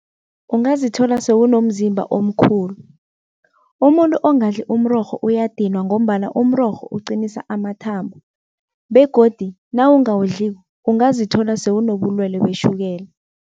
Ungazithola sewunomzimba omkhulu. Umuntu ongadli umrorho uyadinwa ngombana umrorho uqinisa amathambo begodu nawungawudliko ungazithola sewunobulwelwe beshukela.